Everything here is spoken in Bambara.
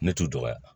Ne t'u dɔgɔya